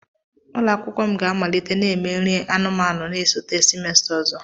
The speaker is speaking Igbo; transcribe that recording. Ụlọ akwụkwọ m ga-amalite na-eme nri anụmanụ na-esote semester ọzọ.